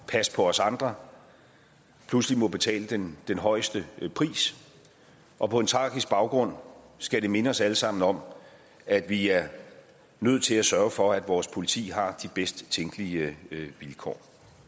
passe på os andre pludselig må betale den den højeste pris og på en tragisk baggrund skal det minde os alle sammen om at vi er nødt til at sørge for at vores politi har de bedst tænkelige vilkår